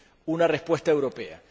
una respuesta europea.